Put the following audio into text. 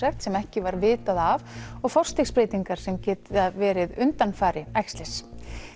sem ekki var vitað af og forstigsbreytingar sem getur verið undanfari æxlis